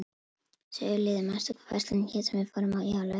Sigurliði, manstu hvað verslunin hét sem við fórum í á laugardaginn?